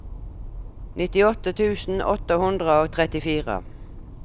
nittiåtte tusen åtte hundre og trettifire